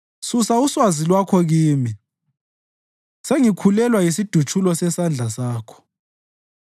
Susa uswazi lwakho kimi; sengikhulelwa yisidutshulo sesandla sakho.